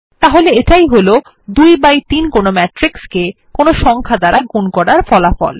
তাহলে এটাই হল ২ বাই ৩ কোনো ম্যাট্রিক্সকে কোনো সংখ্যা দ্বারা গুন করার ফলাফল